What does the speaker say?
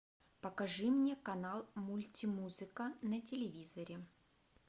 покажи мне канал мультимузыка на телевизоре